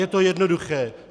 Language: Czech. Je to jednoduché.